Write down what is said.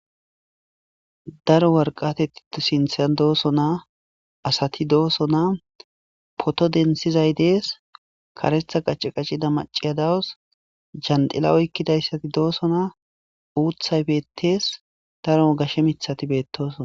Daro warqateti sinthan dooso naa asati dooso naa poto densizay dees karetha qacce qaccida maciya dawos jandila oykkidayssati dooso naa uuthay beettees daro gashe mithati beettosona